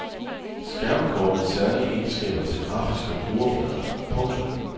Skærmkort med særlige egenskaber til grafiske brugerflader. punktum